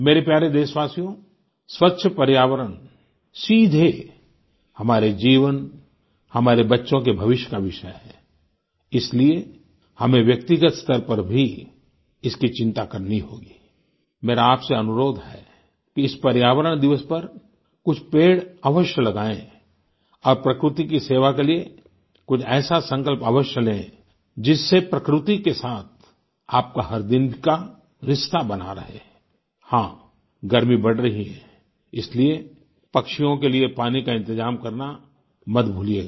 मेरे प्यारे देशवासियो स्वच्छ पर्यावरण सीधे हमारे जीवन हमारे बच्चों के भविष्य का विषय है आई इसलिए हमें व्यक्तिगत स्तर पर भी इसकी चिंता करनी होगी आई मेरा आपसे अनुरोध है कि इस पर्यावरण दिवस पर कुछ पेड़ अवश्य लगाएँ और प्रकृति की सेवा के लिए कुछ ऐसा संकल्प अवश्य लें जिससे प्रकृति के साथ आपका हर दिन का रिश्ता बना रहे आई हाँ गर्मी बढ़ रही है इसलिए पक्षियों के लिए पानी का इंतजाम करना मत भूलियेगा